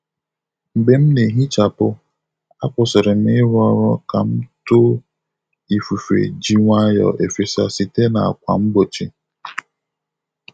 Mgbe m na-ehichapụ, a kwụsịrị m ịrụ ọrụ ka m too ifufe ji nwayọ efesa site na ákwà mgbochi.